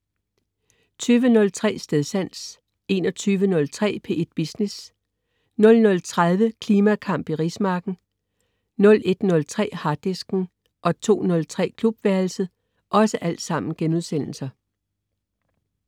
20.03 Stedsans* 21.03 P1 Business* 00.30 Klimakamp i rismarken 2:2* 01.03 Harddisken* 02.03 Klubværelset*